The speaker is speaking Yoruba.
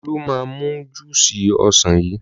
Olú máa mu júúsì ọsàn yìí.